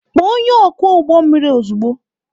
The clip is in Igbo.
Kpọọ onye ọkwọ ụgbọ mmiri ozugbo!